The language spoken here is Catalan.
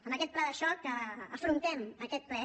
amb aquest pla de xoc afrontem aquest ple